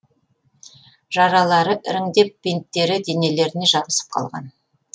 жаралары іріңдеп бинттері денелеріне жабысып қалған